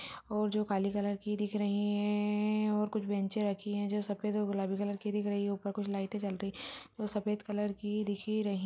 और जो काले कलर दिख रही है और कुछ बेन्चें रखी हुई है जो सफेद और गुलाबी कलर की दिख रही है ऊपर लाइटे जल रही है वो सफेद कलर की दिखी रही --